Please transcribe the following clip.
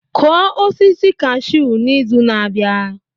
Kụọ osisi cashew n'izu na-abịa